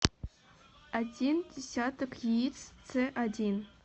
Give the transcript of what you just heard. один десяток яиц ц один